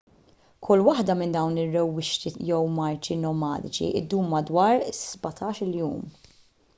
kull waħda minn dawn ir-rewwixti jew marċi nomadiċi ddum madwar 17-il jum